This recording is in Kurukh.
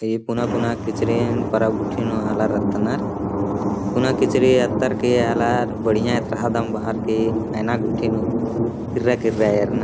ई पुना पुना किचरीन परब गुट्ठीन नू हला रत्अनर पुना किचरी ऐथर के अलार बढिया एथरादम बआरके एना गूट्ठी नू किर्रा-किर्रा एरना --